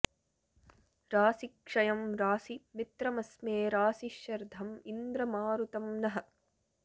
रासि॒ क्षयं॒ रासि॑ मि॒त्रम॒स्मे रासि॒ शर्ध॑ इन्द्र॒ मारु॑तं नः